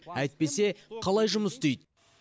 әйтпесе қалай жұмыс істейді